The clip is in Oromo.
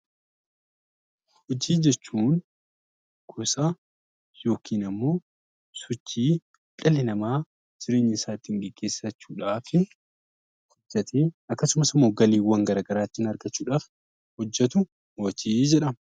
Hojii jechuun gosa yookiin ammoo sochii dhalli namaa jireenya isaa ittiin geggeessachuu dhaaf akkasumas immoo galiiwwan gara garaa ittiin argachuu dhaaf hojjetu 'Hojii' jedhama.